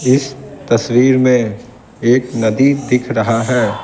इस तस्वीर में एक नदी दिख रहा है।